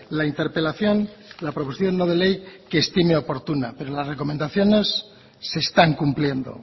la interpelación la proposición no de ley que estime oportuno pero las recomendaciones se están cumpliendo